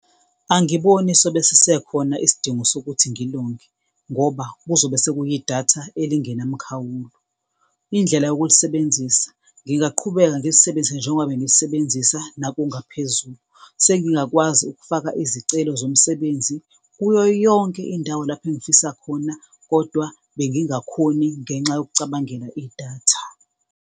Angiboni sobe sisekhona isidingo sokuthi ngilonge, ngoba kuzobe sekuyi idatha elingenamkhawulo. Indlela yokulisebenzisa, ngingaqhubeka ngilisebenzise njengoba bengilisebenzisa nakungaphezulu, sengingakwazi ukufaka izicelo zomsebenzi kuyo yonke indawo lapho engifisa khona kodwa bengingakhoni ngenxa yokucabangela idatha.